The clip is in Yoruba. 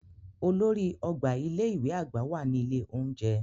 Olórí ọgbà ilé ìwé àgbà wà ní ilé oúnjẹ.